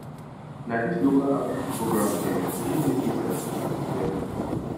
na this local outreach program dem really make me sabi syphilis well o